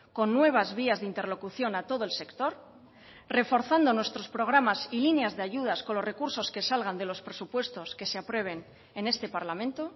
con nuevas vías de interlocución a todo el sector reforzando nuestros programas y líneas de ayudas con los recursos que salgan de los presupuestos que se aprueben en este parlamento